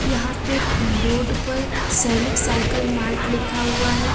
यहां पे बोर्ड पर सैनिक साइकिल मार्ट लिखा हुआ है।